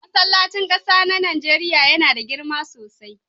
Masllacin ƙasa na Nijeriya yana da girma sosai.